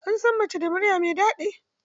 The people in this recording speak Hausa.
Ansan mace da murya mai dadi.